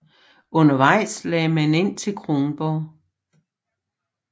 Undervejs lagde man ind til Kronborg